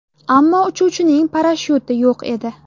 Ammo uchuvchining parashyuti yo‘q edi.